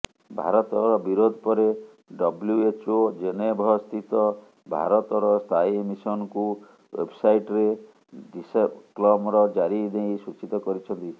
ଭାରତର ବିରୋଧ ପରେ ଡବ୍ଲୁଏଚଓ ଜେନେଭସ୍ଥିତ ଭାରତର ସ୍ଥାୟୀ ମିସନଙ୍କୁ ୱେବ୍ସାଇଟ୍ରେ ଡିସ୍କ୍ଲେମର ଜାରି ନେଇ ସୂଚିତ କରିଛନ୍ତି